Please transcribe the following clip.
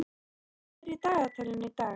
Sveinar, hvað er í dagatalinu í dag?